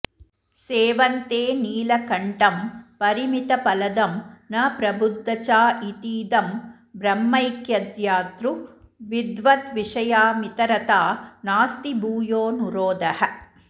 सेवन्ते नीलकण्ठं परिमितफलदं न प्रबुद्धचा इतीदं ब्रह्मैक्यध्यातृ विद्वद्विषयमितरथा नास्ति भूयोनुरोधः